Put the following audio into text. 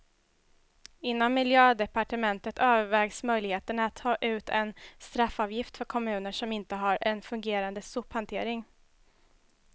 Inom miljödepartementet övervägs möjligheterna att ta ut en straffavgift för kommuner som inte har en fungerande sophantering.